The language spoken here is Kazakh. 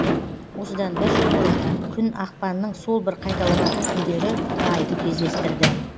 осыдан бір жыл бұрын күн ақпанның сол бір қайталанатын күндері айды кездестірді